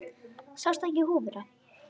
Sástu ekki húfuna?